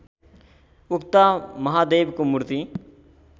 उक्त महादेवको मूर्ति